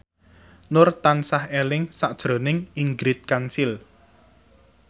Nur tansah eling sakjroning Ingrid Kansil